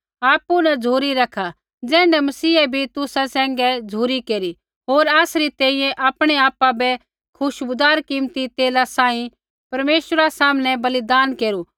आपु न झ़ुरी रैखा ज़ैण्ढै मसीहै भी तुसा सैंघै झ़ुरी केरी होर आसरी तैंईंयैं आपणै आपा बै खुशबूदार कीमती तेला सांही परमेश्वरा सामनै बलिदाना केरू